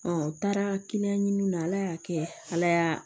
n taara ɲini na ala y'a kɛ ala y'a